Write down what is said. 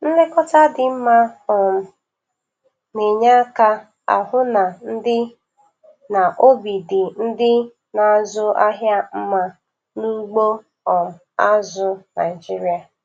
Nlekọta dị mma um na-enye aka ahụ na ndị na obi dị ndị na-azụ ahịa mma n' ugbo um azụ Naijiria